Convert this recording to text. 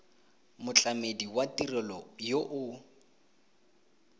motlamedi wa tirelo yo o